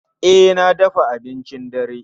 E, na dafa abincin dare